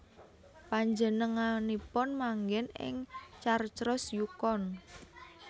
Panjenenganipun manggèn ing Carcross Yukon